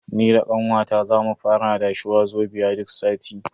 Ni da kawata za mu fara adashe Wazobia duk sati.